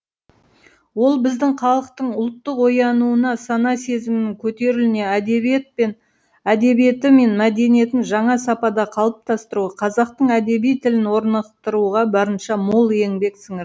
ол біздің халықтың ұлттық оянуына сана сезімінің көтерілуіне әдебиеті мен мәдениетін жаңа сапада қалыптастыруға қазақтың әдеби тілін орнықтыруға барынша мол еңбек сіңірді